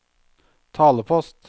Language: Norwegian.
talepost